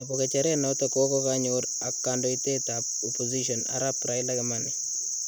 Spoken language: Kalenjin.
Nepo gejeret nato kokokaanyor ak kandoitet ap opposition arap Raila kimani